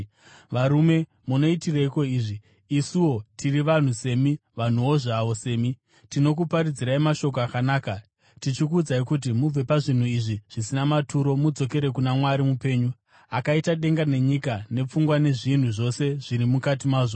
“Varume, munoitireiko izvi? Isuwo tiri vanhu semi, vanhuwo zvavo semi. Tinokuparidzirai mashoko akanaka, tichikuudzai kuti mubve pazvinhu izvi zvisina maturo mudzokere kuna Mwari mupenyu, akaita denga nenyika negungwa nezvinhu zvose zviri mukati mazvo.